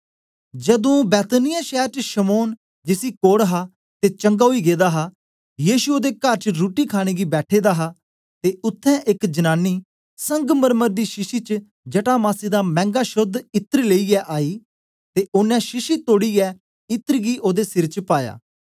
जदूं बैतनिय्याह शैर च शमौन जिसी कोढ़ हा ते चंगा ओई गेदा हा यीशु ओदे कर च रुट्टी खाणे गी बैठे दे हे ते उत्थें एक जनांनी संगमरमर दे शीशी च जटामासी दा मैंगा शोद्ध इत्र लेईयै आई ते ओनें शीशी तोड़ीयै इत्र गी ओदे सिर च पाया